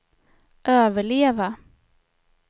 överleva